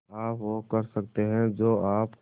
आप वो कर सकते हैं जो आप